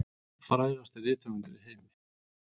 Frægasti rithöfundur í heimi